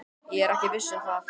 Ég er ekki viss um það.